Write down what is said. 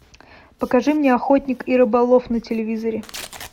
покажи мне охотник и рыболов на телевизоре